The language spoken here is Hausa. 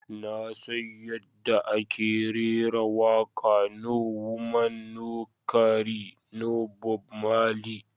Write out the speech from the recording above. "Na san yadda ake rera waƙa"No woman no cry" na Bob marley.